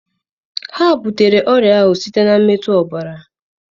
Ha butere ọrịa ahụ site na mmetụ ọbara.